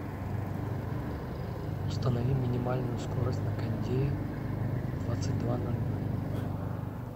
установи минимальную скорость на кондее в двадцать два ноль ноль